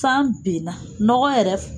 San benna nɔgɔ yɛrɛ